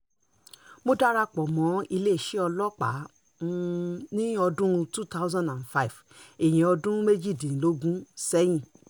um mo dara pọ̀ mọ́ iléeṣẹ́ ọlọ́pàá um ní ọdún 2005 ìyẹn ọdún méjìdínlógún sẹ́yìn